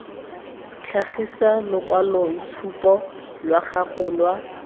tlhagisa lokwaloitshupu lwa gago lwa